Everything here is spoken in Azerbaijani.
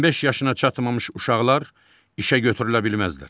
15 yaşına çatmamış uşaqlar işə götürülə bilməzlər.